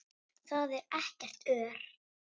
Þar er ekkert ör.